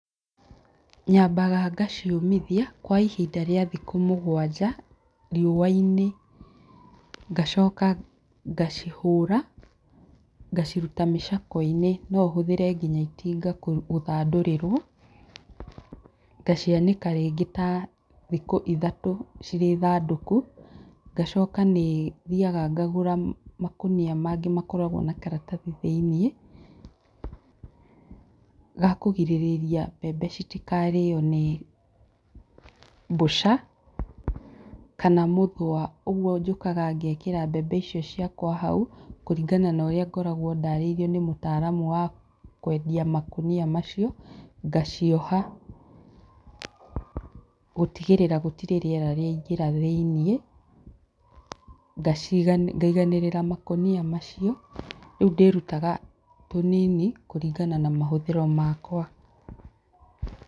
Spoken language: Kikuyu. Nyambaga ngaciũmithia kwa ihinda rĩa thikũ mũgwanja riũa-inĩ ngacoka ngacihũra ngaciruta mĩcakwe-inĩ no ũhũthĩre nginya itinga gũthandũrĩrwo, ngacianĩka rĩngĩ ta thikũ ithatũ cirĩ thandũku, ngacoka ngathiĩ ngarũra makonia mangĩ makoragwo na karatathi thĩinĩ gakũrigĩrĩria mbembe itikarĩo nĩ mbũca kana mũthũa ũguo, njũkaga ngekĩra mbembe ciakwa hau kũringana na ũrĩa ngoragwo ndarĩirio nĩ mũtaaramu wa kwendia makonia macio ngacioha gũtigĩrĩra gũtirĩ rĩera rĩaingĩra thĩinĩ, ngaiganĩrĩra makonia macio rĩu ndĩrutaga tũnini kũringana na mahũthĩro makwa.